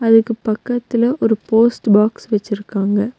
அதுக்கு பக்கத்துல ஒரு போஸ்ட் பாக்ஸ் வச்சிருக்காங்க.